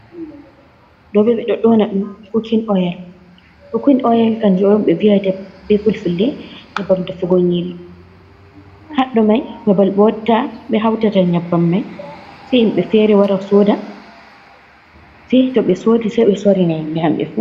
Ɗo ɓe ɗo ɗoona ɗum kukin oyel. Kukin oyel kanjum ɓe viyata be fulfulde nyabbam defugo nyiri. Haɗɗo mai babbal ɓe watta, ɓe hautata nyabbam mai, se himbe fere wara soda. Sai to ɓe sodi sai ɓe sorina himɓe hamɓe fu.